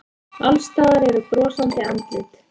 Alls staðar eru brosandi andlit.